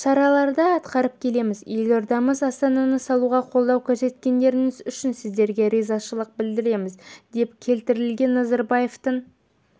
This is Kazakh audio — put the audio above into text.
шараларды атқарып келеміз елордамыз астананы салуға қолдау көрсеткендеріңіз үшін сіздерге ризашылық білдіреміз деп келтірілген назарбаевтың